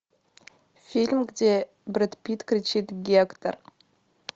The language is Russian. фильм где брэд питт кричит гектор